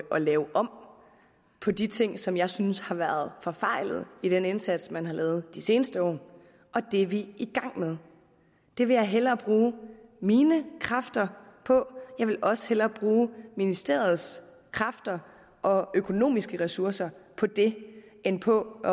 lave om på de ting som jeg synes har været forfejlet i den indsats man har lavet de seneste år og det er vi i gang med det vil jeg hellere bruge mine kræfter på jeg vil også hellere bruge ministeriets kræfter og økonomiske ressourcer på det end på at